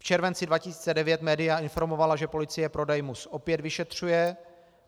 V červenci 2009 média informovala, že policie prodej MUS opět vyšetřuje.